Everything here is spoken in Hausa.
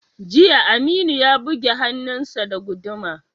Jiya, Aminu ya buge hannunsa da guduma.